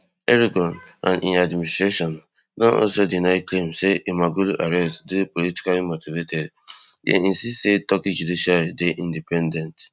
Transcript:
erdogan and im administration don also deny claims say imamoglu arrest dey politically motivated dem insist say turkey judiciary dey independent